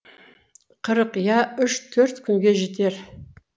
қырық я үш төрт күнге жетер